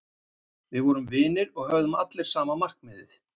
Við vorum vinir og höfðum allir sama markmiðið.